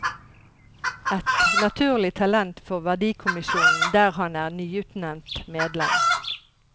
Et naturlig talent for verdikommisjonen, der han er nyutnevnt medlem.